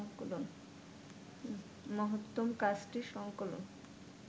মহত্তম কাজটির সংকলন